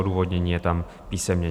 Odůvodnění je tam písemně.